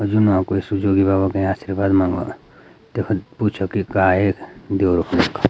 यु नौ कुई सुजोगी बाबा के आशीर्वाद मांगू तख पूछो की गाय यख दयूरो।